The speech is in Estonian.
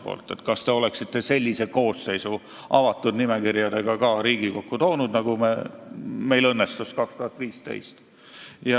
Ta küsis: kas te oleksite sellise koosseisu toonud Riigikokku ka avatud nimekirjadega, nagu meil õnnestus 2015?